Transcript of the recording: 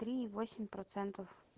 три и восемь процентов